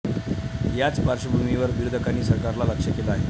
याच पार्श्वभूमीवर विरोधकांनी सरकारला लक्ष्य केलं आहे.